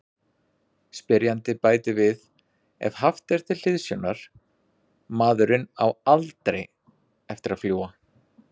Spyrjandi bætir við: Ef haft er til hliðsjónar:.maðurinn á ALDREI eftir að fljúga.